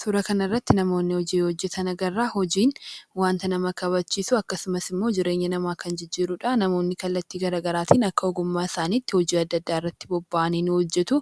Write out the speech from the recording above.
Suura kan irratti namoonni hojii hojjetana garaa hojiin wanta nama kabachiisu akkasumas immoo jireenya namaa kan jijjiiruudha. Namoonni kallattii garagaraatiin akka ogummaa isaanitti hojii adda addaa irratti bobba'anii ni hojjetu